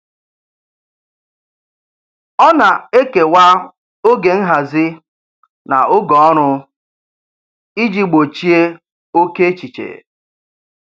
Ọ na-ekewa oge nhazi na oge ọrụ iji gbochie oke echiche.